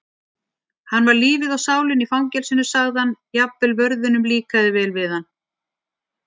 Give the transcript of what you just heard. Hann var lífið og sálin í fangelsinu sagði hann, jafnvel vörðunum líkaði vel við hann